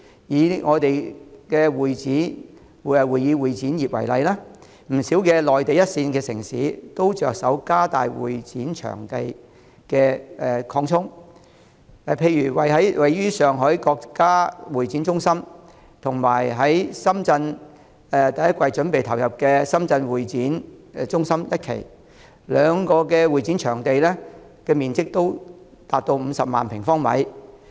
以會議展覽業為例，不少內地一線城市都着手擴充會展場地，例如位於上海的國家會展中心，以及將於2019年第一季投入使用的深圳國際會展中心一期，兩者的會展場地面積也達 500,000 平方米。